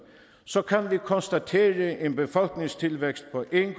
så kan vi konstatere en befolkningstilvækst på en